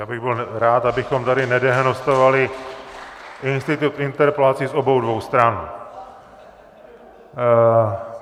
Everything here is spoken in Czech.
Já bych byl rád, abychom tady nedehonestovali institut interpelací z obou dvou stran.